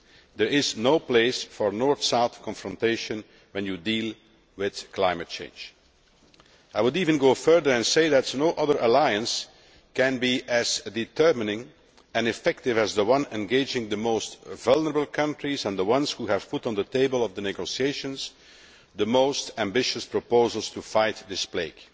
There is no place for North South confrontation when you are dealing with climate change. I would even go further and say that no other alliance can be as determining and effective as the one engaging the most vulnerable countries and the ones who have put on the negotiating table the most ambitious proposals to fight this plague